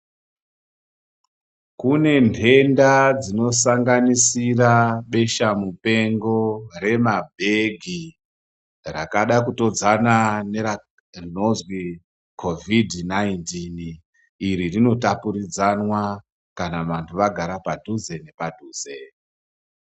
Kune nthenda dzinosanganira bhesha mupengo reMarburg rakada kutodzana nerinozwi COVID 19 iri rinotapurudzwana kana vanthu vagara padhuze nepaduze.